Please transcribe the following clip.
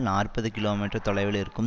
நாற்பது kilometre தொலைவில் இருக்கும்